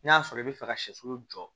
N'a sɔrɔ i bɛ fɛ ka sɛsulu jɔ